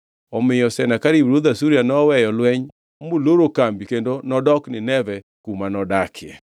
Omiyo Senakerib ruodh Asuria noweyo lweny moloro kambi kendo nodok Nineve kuma nodakie.